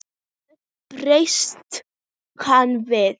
Hvernig bregst hann við?